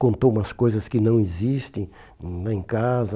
Contou umas coisas que não existem hum em casa.